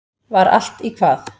Var allt í hvað?